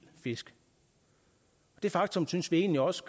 fisk det faktum synes vi egentlig også